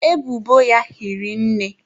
Ebubo ya hiri nne.